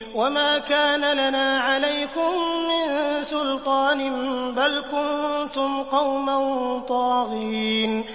وَمَا كَانَ لَنَا عَلَيْكُم مِّن سُلْطَانٍ ۖ بَلْ كُنتُمْ قَوْمًا طَاغِينَ